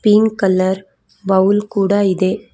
Pink colour bowl ಕೂಡ ಇದೆ.